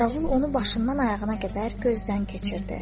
Qaravul onu başından ayağına qədər gözdən keçirdi.